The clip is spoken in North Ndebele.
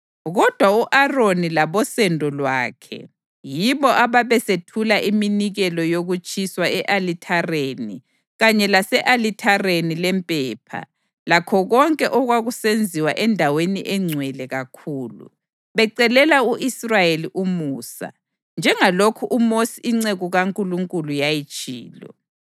Kodwa u-Aroni labosendo lwakhe yibo ababesethula iminikelo yokutshiswa e-alithareni kanye lase-alithareni lempepha lakho konke okwakusenziwa eNdaweni eNgcwele kakhulu, becelela u-Israyeli umusa, njengalokhu uMosi inceku kaNkulunkulu yayitshilo.